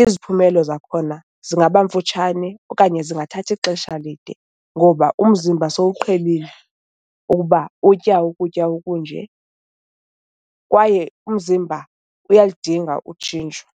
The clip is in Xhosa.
iziphumelo zakhona zingaba mfutshane okanye zingathathi xesha lide ngoba umzimba sowuqhelile ukuba utya ukutya okunje kwaye umzimba uyalidinga utshintsho.